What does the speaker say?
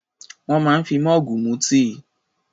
Wọ́n máa ń fi mọ́ọ̀gù mu tíì.